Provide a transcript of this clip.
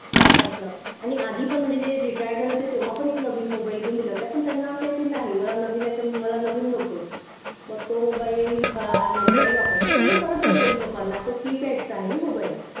असा आणि आधी पण म्हणजे retired झाले होते तेव्हा पण एक मोबाईल घेऊन दिला होता पण त्यांना असा आहे की नाही मला नवीन नाही तर मला नवीन नकोच मग तो मोबाईल माझी आई वापरते पण मी परत बोली पप्पांना की तो keypad चा आहे ना मोबाईल असं